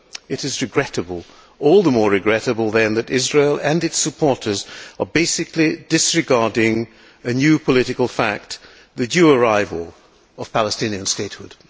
It is regrettable, all the more regrettable then, that Israel and its supporters are basically disregarding a new political fact, the due arrival of Palestinian statehood.